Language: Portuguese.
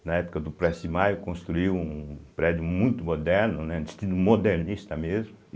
na época do Prestes Maia, construiu um prédio muito moderno, né, estilo modernista mesmo